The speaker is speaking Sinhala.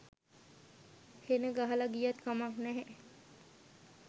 හෙන ගහල ගියත් කමක් නැහැ.